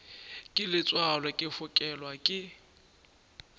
ke letswalo ke fokelwa ke